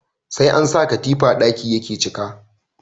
Sai an sa katifa ɗaki yake cika